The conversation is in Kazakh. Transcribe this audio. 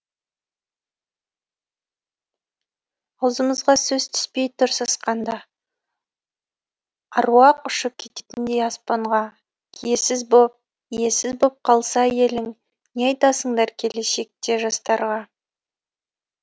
аузымызға сөз түспей тұр сасқанда аруақ ұшып кететіндей аспанға киесіз боп иесіз боп қалса елің не айтасыңдар келешекте жастарға